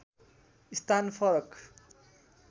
स्थान फरक